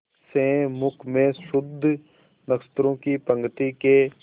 से मुख में शुद्ध नक्षत्रों की पंक्ति के